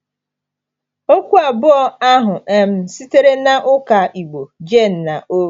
Okwu abụọ ahụ um sitere na ụka Igbo “gen·naʹo.”